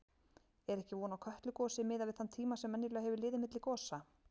Er ekki von á Kötlugosi miðað við þann tíma sem venjulega hefur liðið milli gosa?